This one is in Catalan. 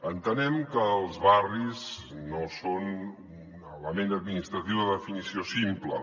entenem que els barris no són un element administratiu de definició simple